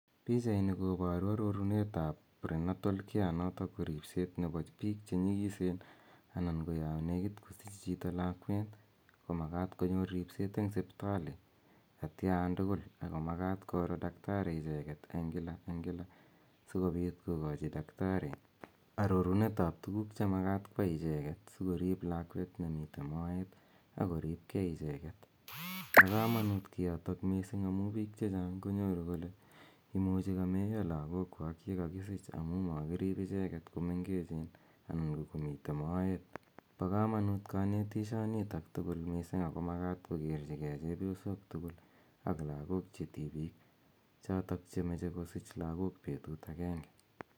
Pichaini koparu arorunet ap prenatal care notok ko ripset nepo piik chotok che nyikisen anan ko ya nekit kosich chito lakwet ko makat konyor chito ripseet eng' sipitali atian tugul. Ako makat koro daktari icheget eng' kila eng' kila si kopit kokachi daktari arorunet ap tuguuk che makat koyai icheget si korip lakwet nemitei moet ako rip gei icheget. Po kamanut kiotok missing' amu piik konyoru kole imuchi kameiya lagookwak ye kakisich amu makirip icheget ko mengechen anan ko kokomitei moet. Pa kamanuut kanetishanitak tugul missing' ako makat kokerchigei chepyosok tugul ak lagook che tipiik chotok che mache kosiich lagook petut agenge.